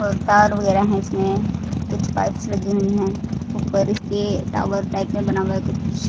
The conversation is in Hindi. और तार वगैरह है इसमें कुछ पाइप्स लगी हुई हैं ऊपर इसके टावर टाइप में बना हुआ है कुछ--